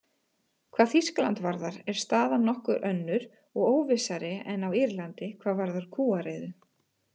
Hvað Þýskaland varðar er staðan nokkuð önnur og óvissari en á Írlandi hvað varðar kúariðu.